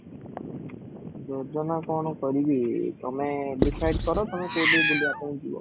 ଯୋଜନା କ'ଣ କରିବି ତମେ decide କର ତମେ କୋଉଠି ବୁଲିବା ପାଇଁ ଯିବ